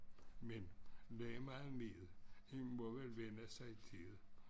Men lige meget med det en må vel vænne sig til det